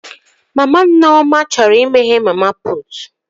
Mama Nneoma chọrọ imeghe mama putu